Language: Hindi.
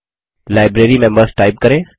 लाइब्रेरीमेंबर्स टाइप करें